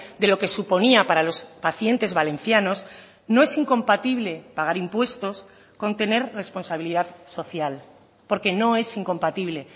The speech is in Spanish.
de lo que suponía para los pacientes valencianos no es incompatible pagar impuestos con tener responsabilidad social porque no es incompatible